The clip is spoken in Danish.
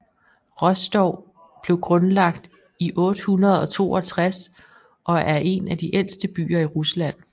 Rostov blev grundlagt i 862 og er en af de ældste byer i Rusland